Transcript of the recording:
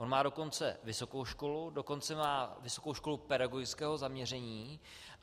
On má dokonce vysokou školu, dokonce má vysokou školu pedagogického zaměření.